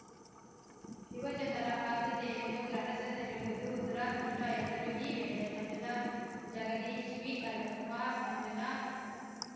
ಯುವಜನರ ಆದ್ಯತೆಯನ್ನು ಗ್ರಹಿಸದಿರುವುದು ದುರಾದೃಷ್ಟಎಂದರು ಈ ವೇಳೆ ಮಂಜುನಾಥ್‌ ಜಗದೀಶ್‌ ವಿಅರುಣ್‌ಕುಮಾರ್ ಮಂಜುನಾಥ್‌